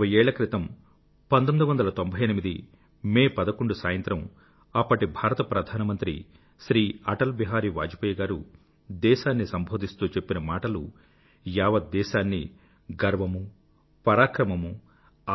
ఇరవై ఏళ్ల క్రితం మే 11 1998 సాయంత్రం అప్పటి భారత ప్రధానమంత్రి శ్రీ అటల్ బిహారీ వాజపేయి గారు దేశాన్ని సంబోధిస్తూ చెప్పిన మాటలు యావత్ దేశాన్నీ గర్వమూ పరాక్రమమూ